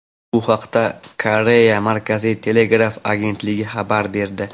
Bu haqda Koreya markaziy telegraf agentligi xabar berdi.